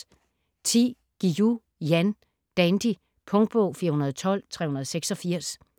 Guillou, Jan: Dandy Punktbog 412386